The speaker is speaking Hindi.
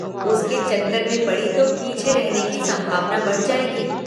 उसके चक्कर में पड़ी तो पीछे रहने की संभावना बढ़ जायेगी।